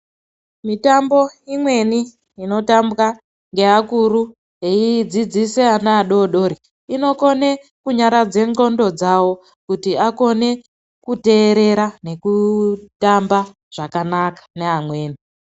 Mitambo imweni ino tambwa nge akuru eyi dzidzisa ana adodori inokone kunyaradze ndxondo dzawo kuti akone kuterera ne kutamba zvakanaka ne amweni.